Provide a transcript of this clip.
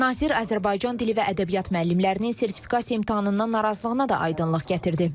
Nazir Azərbaycan dili və ədəbiyyat müəllimlərinin sertifikasiya imtahanından narazılığına da aydınlıq gətirdi.